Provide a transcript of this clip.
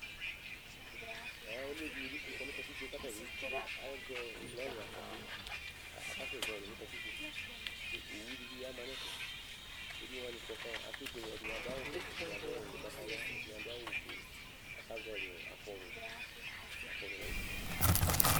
Ɛ emlo dɩnɩ bɩ tsɩkɔ nʋ katikpo kʋ ata bɩ azɛ ɔ lɔrɩ afɔtɩ kʋ akasɛzɔɣɔlɩ nʋ katikpo kʋ owu dɩ bɩ ama nʋ ɛfɛ Emlo wanɩ kɔ kʋ akebuele Ɛdɩnɩ adʋ awʋvɛ, ɛdɩnɩ adʋ awʋ ʋgbatawla, ɛdɩnɩ adʋ awʋ ofue kʋ akazɔɣɔlɩ afɔwui afɔwui nʋ ɛfɛ